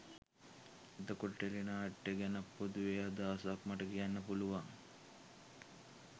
එතකොට ටෙලි නාට්‍ය ගැන පොදුවේ අදහසක් මට කියන්න පුළුවන්